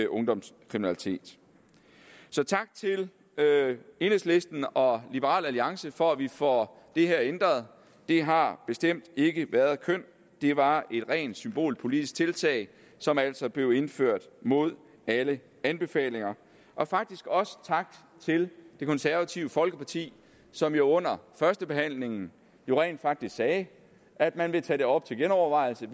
ungdomskriminalitet så tak til enhedslisten og liberal alliance for at vi får det her ændret det har bestemt ikke været kønt det var et rent symbolpolitisk tiltag som altså blev indført mod alle anbefalinger og faktisk også tak til det konservative folkeparti som jo under førstebehandlingen rent faktisk sagde at man ville tage det op til genovervejelse